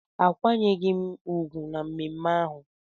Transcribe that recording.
Akwanyeghị m ugwu na mmemme ahụ